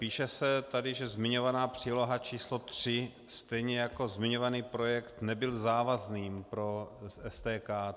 Píše se tady, že zmiňovaná příloha číslo 3, stejně jako zmiňovaný projekt nebyl závazným pro STK.